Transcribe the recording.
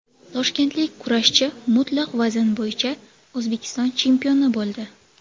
Toshkentlik kurashchi mutlaq vazn bo‘yicha O‘zbekiston chempioni bo‘ldi.